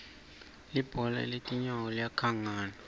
libhola letinyano kangnane